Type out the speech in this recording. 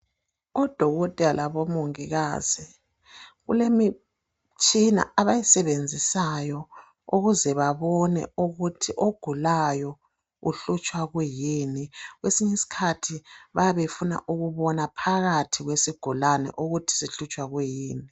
Odokotela labomongokazi kulemitshina abayisebenzisayo ukuze babone ukuthi ogulayo uhlutshwa kuyini . Kwesinyi skhathi bayabe befuna ukubona phakathi kwesigulane ukuthi sihlutshwa kuyini .